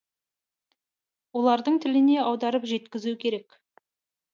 олардың тіліне аударып жеткізу керек